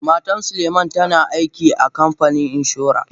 Matan suleiman tana aiki a kanfanin inshora.